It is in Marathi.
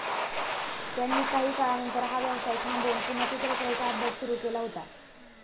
त्यांनी काही काळानंतर हा व्यवसाय थांबवून पुन्हा चित्रकलेचा अभ्यास सुरू केला होता